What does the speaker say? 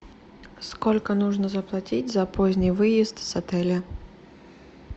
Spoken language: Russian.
сколько нужно заплатить за поздний выезд с отеля